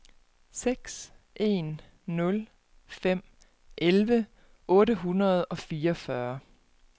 seks en nul fem elleve otte hundrede og fireogfyrre